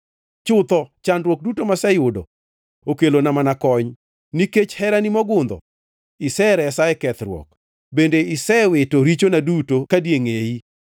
Chutho chandruok duto maseyudo okelona mana kony. Nikech herani mogundho iseresa e kethruok; bende isewito richona duto kadiengʼeyi.